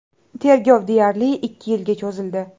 Tergov deyarli ikki yilga cho‘zildi.